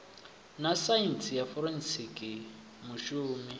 na saintsi ya forensikhi mushumi